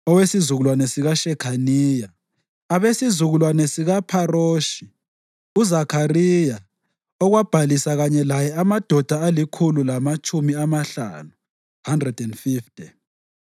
owesizukulwane sikaShekhaniya; abesizukulwane sikaPharoshi, uZakhariya, okwabhalisa kanye laye amadoda alikhulu lamatshumi amahlanu (150);